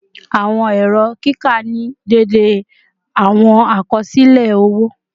Awọn ẹrọ kika ni deede awọn akọsilẹ owo